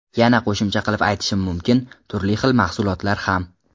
Yana qo‘shimcha qilib aytishim mumkin - turli xil mahsulotlar ham.